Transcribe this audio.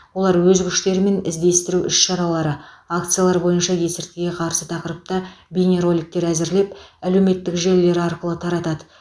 олар өз күштерімен іздестіру іс шаралары акциялар бойынша есірткіге қарсы тақырыпта бейнероликтер әзірлеп әлеуметтік желілер арқылы таратады